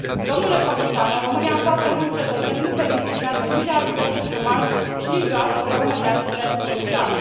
Domnule Comisar, în România foarte mulți cetățeni nu beneficiază nici de ajutor de șomaj și nici de o altă formă de asistență socială.